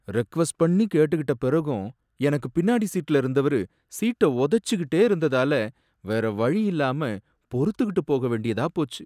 Request பண்ணி கேட்டுகிட்ட பிறகும் எனக்கு பின்னாடி சீட்டுல இருந்தவரு சீட்டை உதைச்சிகிட்டே இருந்ததால வேறவழி இல்லாம பொறுத்துக்கிட்டு போகவேண்டியதா போச்சு.